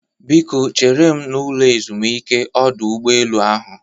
Biko chere m n'ụlọ ezumike ọdọ ụgbọelu ahụ